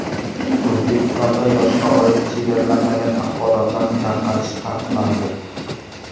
O‘zbekistonda yoshga oid chegaralanmagan axborotlarni tarqatish taqiqlandi.